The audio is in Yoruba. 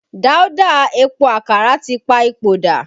Dauda Epo Àkàrà tí pa ipò dà